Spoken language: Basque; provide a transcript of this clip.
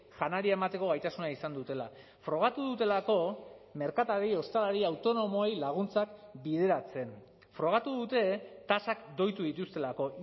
janaria emateko gaitasuna izan dutela frogatu dutelako merkatari ostalari autonomoei laguntzak bideratzen frogatu dute tasak doitu dituztelako